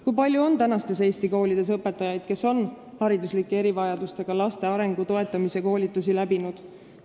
Kui palju on Eesti koolides õpetajaid, kes on hariduslike erivajadustega laste arengu toetamise koolitusel käinud?